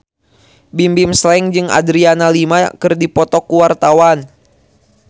Bimbim Slank jeung Adriana Lima keur dipoto ku wartawan